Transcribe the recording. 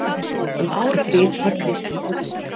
Um árabil var Kristján oddviti.